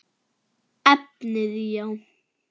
Efnið já?